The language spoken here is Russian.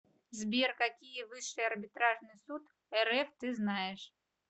сбер какие высший арбитражный суд рф ты знаешь